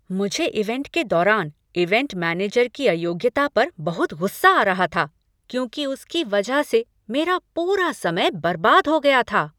मुझे इवेंट के दौरान इवेंट मैनेजर की अयोग्यता पर बहुत गुस्सा आ रहा था क्योंकि उसकी वजह से मेरा पूरा समय बर्बाद हो गया था।